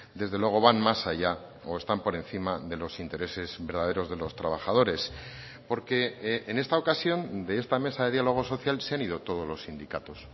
desde luego van más allá o están por encima de los intereses verdaderos de los trabajadores porque en esta ocasión de esta mesa de diálogo social se han ido todos los sindicatos